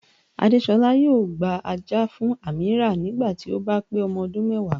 Àdésolá yóò gba ajá fún Ameerah nígbà tí ó bá pé ọmọ ọdún mẹ́wàá